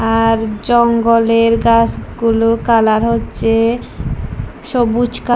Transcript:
আর জঙ্গলের গাসগুলোর কালার হচ্ছে সবুজ কাল --